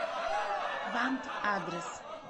вант адрес